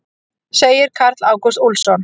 Segir Karl Ágúst Úlfsson.